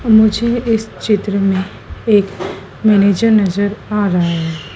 मुझे इस चित्र में एक मैनेजर नजर आ रहा है।